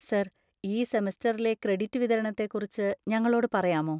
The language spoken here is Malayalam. സർ, ഈ സെമസ്റ്ററിലെ ക്രെഡിറ്റ് വിതരണത്തെക്കുറിച്ച് ഞങ്ങളോട് പറയാമോ?